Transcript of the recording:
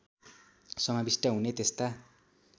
समाविष्ट हुने त्यस्ता